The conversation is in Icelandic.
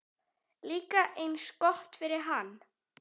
Líka eins gott fyrir hann.